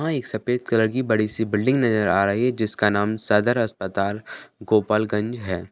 वहाँ एक सफ़ेद कलर की बड़ी-सी बिल्डिंग नज़र आ रही है जिसका नाम सदर अस्पताल गोपाल गंज है।